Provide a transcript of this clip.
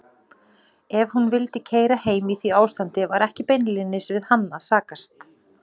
Ef hún vildi keyra heim í því ástandi var ekki beinlínis við hann að sakast.